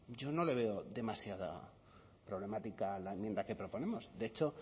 yo no le veo demasiada problemática a la enmienda que proponemos de hecho